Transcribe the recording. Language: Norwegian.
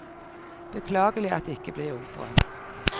Beklagelig at det ikke ble opera.